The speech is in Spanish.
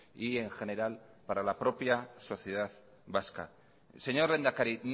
y en general para la propia sociedad vasca señor lehendakari